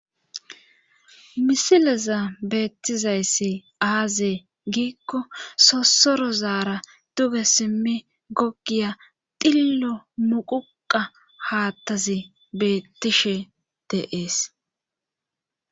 misilezan beettizayssi aazee giikko sossoro zaara duge simmi gogiya dillo muquqa haattazi beettishe de'ees